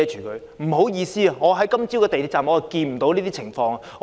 不好意思，我今早在港鐵站看不到這樣的情況。